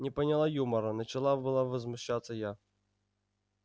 не поняла юмора начала была возмущаться я